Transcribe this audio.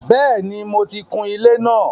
Bẹ́ẹ̀ni, mo ti kun ilé náà.